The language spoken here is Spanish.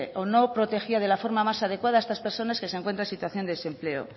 o no protegía de la forma más adecuada a estas personas que se encuentran en situación de desempleo